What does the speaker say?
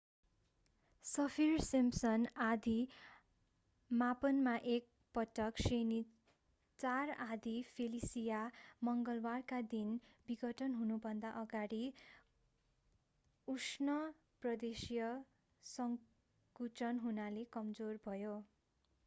Saffir-Simpson आँधी मापनमा एक पटक श्रेणी 4 आँधी फेलिसिया मङ्गलवारका दिन विघटन हुनुभन्दा अगाडि उष्ण प्रदेशिय संकुचन हुनाले कमजोर भयो